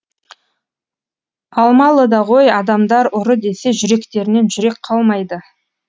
алмалыда ғой адамдар ұры десе жүректерінен жүрек қалмайды